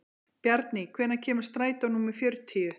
Bjarný, hvenær kemur strætó númer fjörutíu?